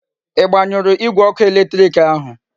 I gbanyuru Igwe oku eletiriki ahu?